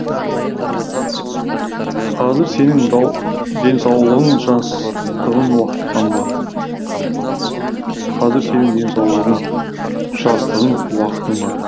денсаулығың жастығың уақытан бар қазір сенің денсаулығың жастығың уақытың бар